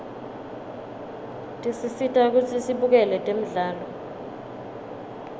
tisisita kutsi sibukele temdlalo